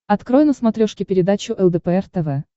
открой на смотрешке передачу лдпр тв